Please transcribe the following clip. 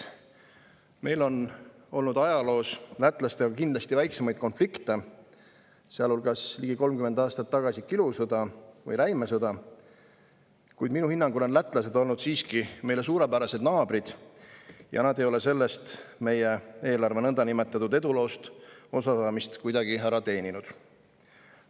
Meil on olnud ajaloos lätlastega kindlasti väiksemaid konflikte, sealhulgas ligi 30 aastat tagasi kilusõda või räimesõda, kuid minu hinnangul on lätlased olnud siiski meile suurepärased naabrid ja nad ei ole meie eelarve nõndanimetatud eduloos osalemist kuidagi ära teeninud.